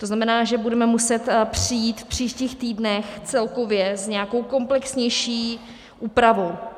To znamená, že budeme muset přijít v příštích týdnech celkově s nějakou komplexnější úpravou.